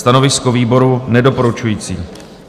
Stanovisko výboru - nedoporučující.